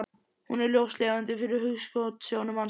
Hún er ljóslifandi fyrir hugskotssjónum hans.